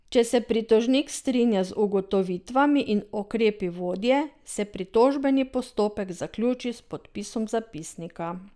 Če se pritožnik strinja z ugotovitvami in ukrepi vodje, se pritožbeni postopek zaključi s podpisom zapisnika.